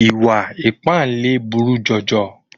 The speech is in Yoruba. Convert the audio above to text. Ìwà ìpáǹle buru jọjọ.